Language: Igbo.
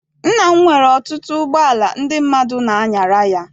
Nna m nwere ọtụtụ ụgbọala ndị mmadụ n'anyara ya.